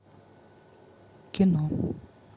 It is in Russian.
кино